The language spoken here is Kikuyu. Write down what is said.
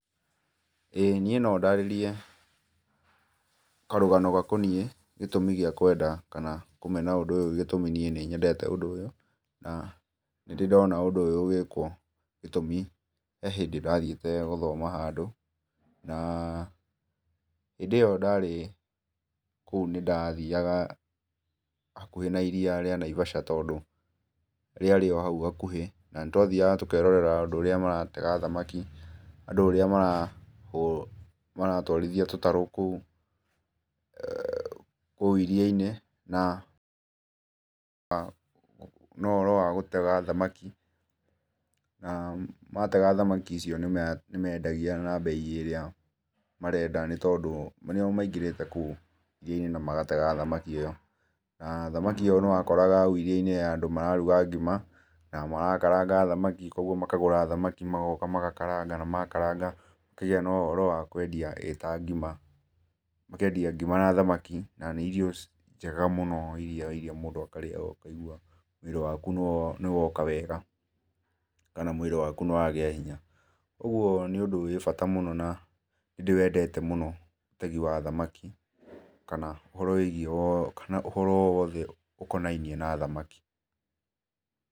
Ĩĩ niĩ no ndarĩrĩe karũgano gakonĩe gĩtũmi gĩa kwenda kana kũmena ũndũ ũyũ gĩtũmi nĩe nĩ nĩnyendete ũndũ ũyũ na dĩ dona ũndũ ũyũ ũgĩkwo, gĩtũmĩ he hĩndĩ ndathiĩte gũthoma handũ na hĩndĩ iyo darĩ kũu nĩ ndathĩaga hakũhe na ĩrĩa rĩa naĩvasha tondũ rĩarĩ o haũ hakũhĩ na nĩ twathĩaga tũkerorera ũndũ ũrĩa maratega thamaki, andũ ũrĩa maratwarĩthĩa tũtarũ eeh koũ iria inĩ na no uhoro wa gũtega thamakĩ na matega thamakĩ icio nĩmaendagĩa na mbeĩ ya ĩrĩa marendana nĩ tondũ, nĩo maigĩrĩte koũ thĩinĩ na magatega thamaki ĩyo. Na thamakĩ ĩyo nĩwakoraga haũ iria inĩ he andũ mararũga gĩma na marakaraga thamakĩ kwogwo makagũra thamaki, magoka magakaranga na makaranga gũkagĩa ũhoro wa kũendia ĩ ta ngĩma ũkaendĩa ngĩma na thamakĩ na nĩ irio njega mũno ĩrĩa mndũ akarĩa ũkaĩgũa mwĩrĩ wakũ nĩwoka wega, kana mwĩrĩ wakũ nĩ wagĩa hĩnya ũgũo nĩ ũndũ wĩ bata mũno na ndĩwendete mũno ũtegĩ wa thamaki kana ũhoro wĩgĩe kana ũhoro wothe ũkonaine na thamaki.